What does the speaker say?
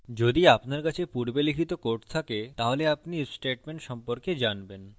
যদি আপনার কাছে পূর্বে লিখিত code থাকে তাহলে আপনি if statement সম্পর্কে জানবেন